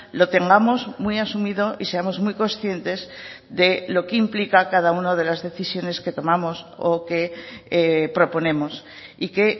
lo tengamos muy asumido y seamos muy conscientes de lo que implica cada una de las decisiones que tomamos o que proponemos y que